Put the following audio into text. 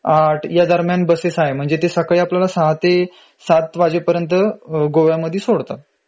८ या दरम्यान बसेस आहे म्हंजे ते आपल्याला सकाळी ६ ते ७ वाजेपर्यन्त गोव्यामध्ये सोडतात.